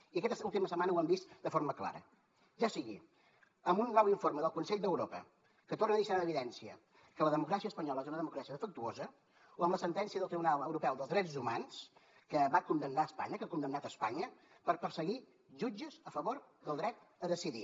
i aquesta última setmana ho hem vist de forma clara ja sigui amb un nou informe del consell d’europa que torna a deixar en evidència que la democràcia espanyola és una democràcia defectuosa o amb la sentència del tribunal europeu dels drets humans que va condemnar espanya que ha condemnat espanya per perseguir jutges a favor del dret a decidir